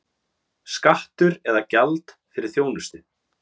Skattur eða gjald fyrir þjónustu?